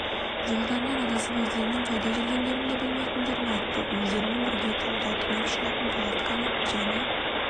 жолдарынан адасып өздерінің қайда жүргендерін де білмейтіндерін айтты өздерімен бірге тауда түнеп шығатын палатканы және